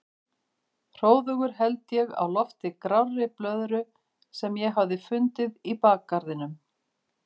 Hróðugur held ég á lofti grárri blöðru sem ég hafði fundið í bakgarðinum.